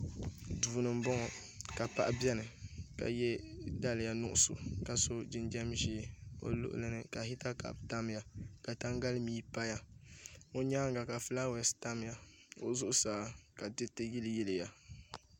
Duu ni n boŋo ka paɣa biɛni ka yɛ faliya nuɣso ka so jinjɛm ʒiɛ o luɣuli ni ka hita kaap tamya ka tangali mii paya o nyaanga ka fulaawaasi tamya o zuɣusaa ka diriti yiliyiliya